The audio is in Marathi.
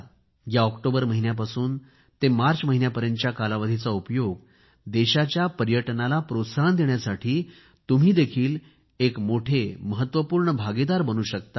या ऑक्टोबर महिन्यापासून ते मार्च महिन्यापर्यंतच्या कालावधीचा उपयोग देशाच्या पर्यटनाला प्रोत्साहन देण्यासाठी तुम्हीही एक मोठे महत्वपूर्ण भागिदार बनू शकता